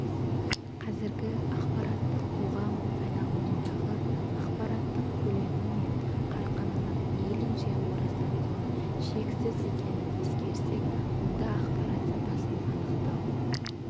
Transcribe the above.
қазіргі ақпараттық қоғам айналымындағы ақпараттың көлемі мен қарқынының мейлінше орасан зор шексіз екенін ескерсек онда ақпарат сапасын анықтау